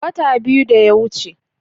Wata biyu da yawuce.